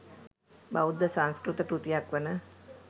බෞද්ධ සංස්කෘත කෘතියක් වන